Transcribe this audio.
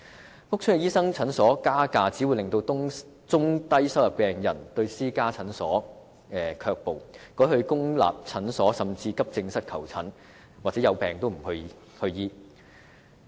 所以，屋邨的私家診所加價，只會令中低收入病人對私家診所卻步，改為向公立診所甚至急症室求診，或有病也不求診。